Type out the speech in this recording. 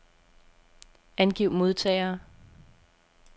Angiv modtagere.